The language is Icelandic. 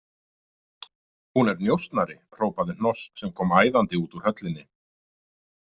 Hún er njósnari, hrópaði Hnoss sem kom æðandi út úr höllinni.